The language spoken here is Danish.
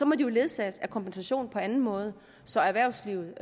må de ledsages af kompensation på anden måde så erhvervslivet